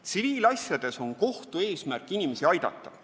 Tsiviilasjades on kohtu eesmärk inimesi aidata.